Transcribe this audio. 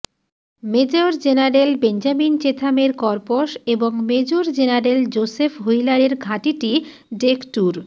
major general Benjamin চেথামের corps এবং major general Joseph হুইলারের ঘাঁটিটি ডেকটুর